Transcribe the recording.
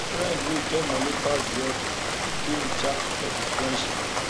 friend wey get money pass di other fit de in charge for the friendship